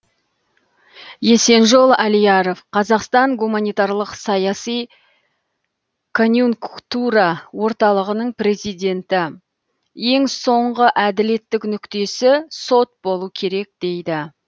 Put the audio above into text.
есенжол алияров қазақстан гуманитарлық саяси конъюнк тура орталығының президенті ең соңғы әділеттік нүктесі сот болу керек дейді